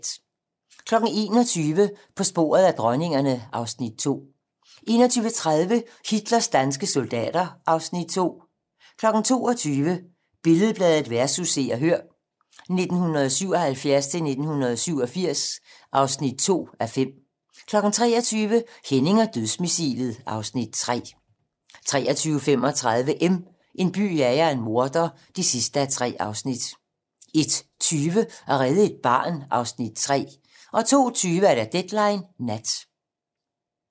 21:00: På sporet af dronningerne (Afs. 2) 21:30: Hitlers danske soldater (Afs. 2) 22:00: Billed-Bladet vs. Se og Hør (1977-1987) (2:5) 23:00: Henning og dødsmissilet (Afs. 3) 23:35: M - En by jager en morder (3:3) 01:20: At redde et barn (Afs. 3) 02:20: Deadline nat